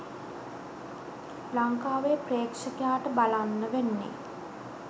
ලංකාවේ ප්‍රෙක්ෂකයාට බලන්න වෙන්නෙ.